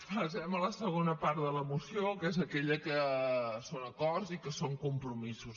passem a la segona part de la moció que és aquella que són acords i que són compromisos